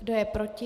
Kdo je proti?